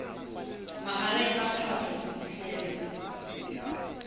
mahareng a phato ho fihlela